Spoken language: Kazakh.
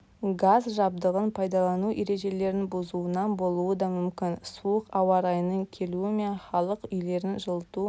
газ жабдығын пайдалану ережелерін бұзуынан болуы да мүмкін суық ауаа райының келуімепн халық үйлерін жылыту